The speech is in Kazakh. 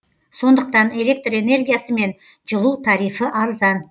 сондықтан электр энергиясы мен жылу тарифі арзан